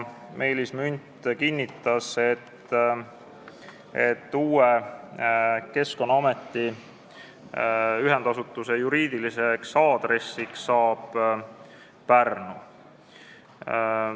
Meelis Münt kinnitas, et uue Keskkonnaameti ühendasutuse juriidiliseks aadressiks saab Pärnu.